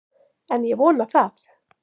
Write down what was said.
En ég vona það!